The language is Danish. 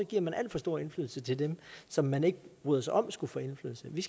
giver man alt for stor indflydelse til dem som man ikke bryder sig om skal få indflydelse vi